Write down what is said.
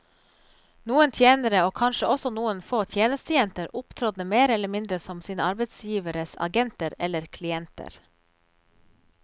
Noen tjenere, og kanskje også noen få tjenestejenter, opptrådte mer eller mindre som sine arbeidsgiveres agenter eller klienter.